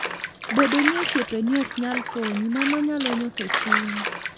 Bedo ni osiepeni ok nyal konyi, mano nyalo nyoso chunyi.